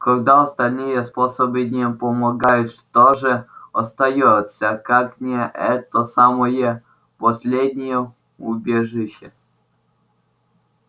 когда остальные способы не помогают что же остаётся как не это самое последнее убежище